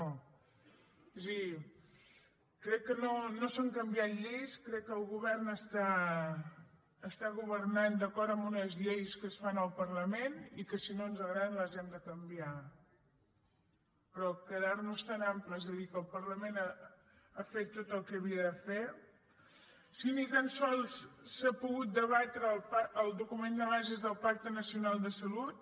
és a dir crec que no s’han canviat lleis crec que el govern està governant d’acord amb unes lleis que es fan al parlament i que si no ens agraden les hem de canviar però quedar nos tan amples i dir que el parlament ha fet tot el que havia de fer si ni tan sols s’ha pogut debatre el document de bases del pacte nacional de la salut